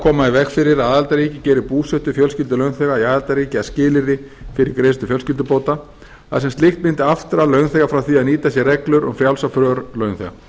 í veg fyrir að aðildarríki geri búsetu fjölskyldu launþega í aðildarríki að skilyrði fyrir greiðslu fjölskyldubóta þar sem slíkt mundi aftra launþega frá því að nýta sér reglur um frjálsa för launþega